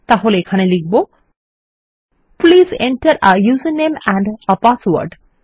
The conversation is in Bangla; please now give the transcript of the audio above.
তাহলে এখানে লিখব please enter a user name and a password